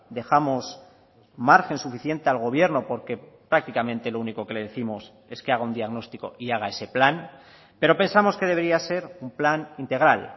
dejamos margen suficiente al gobierno porque prácticamente lo único que le décimos es que haga un diagnóstico y haga ese plan pero pensamos que debería ser un plan integral